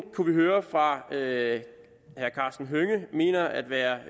kunne høre fra herre karsten hønge at mener at være